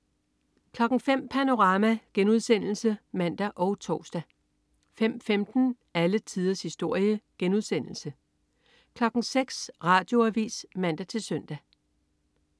05.00 Panorama* (man og tors) 05.15 Alle tiders historie* 06.00 Radioavis (man-søn)